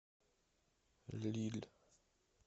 лилль